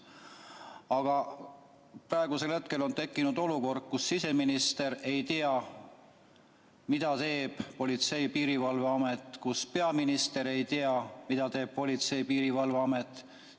Aga praegu on tekkinud olukord, kus siseminister ei tea, mida teeb Politsei- ja Piirivalveamet, ja ka peaminister ei tea, mida teeb Politsei- ja Piirivalveamet.